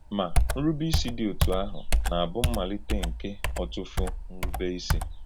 Ma, nrùbèísí dị̀ òtù àhụ̀ na-abù mmàlítè nke ọ̀tùfù nrùbèísí.